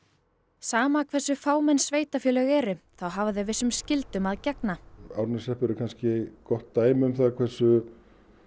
sama hversu fámenn sveitarfélög eru þá hafa þau vissum skyldum að gegna Árneshreppur er kannski gott dæmi um það hversu